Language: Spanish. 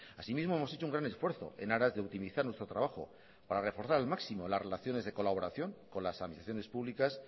asimismo hemos hecho un gran esfuerzo en aras de optimizar nuestro trabajo para reforzar al máximo las relaciones de colaboración con las administraciones públicas